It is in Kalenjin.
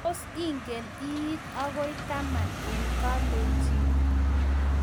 Tos ingen I iit agoi taman eng kalenjin?